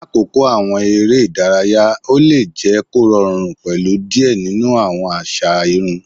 Lakoko awọn ere idaraya, o le jẹ korọrun pẹlu diẹ ninu awọn aza irun